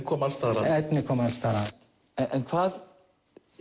kom alls staðar að efnið kom alls staðar að en hvað